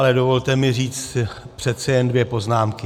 Ale dovolte mi říct přece jen dvě poznámky.